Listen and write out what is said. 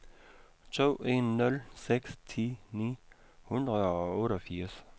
to en nul seks ti ni hundrede og otteogfirs